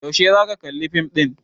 Yaushe za ka kalli fim ɗin?